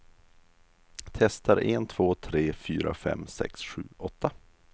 Testar en två tre fyra fem sex sju åtta.